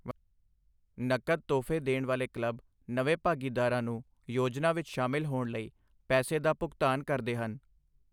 ਨਕਦ ਤੋਹਫ਼ੇ ਦੇਣ ਵਾਲੇ ਕਲੱਬ ਨਵੇਂ ਭਾਗੀਦਾਰਾਂ ਨੂੰ ਯੋਜਨਾ ਵਿੱਚ ਸ਼ਾਮਿਲ ਹੋਣ ਲਈ ਪੈਸੇ ਦਾ ਭੁਗਤਾਨ ਕਰਦੇ ਹਨ।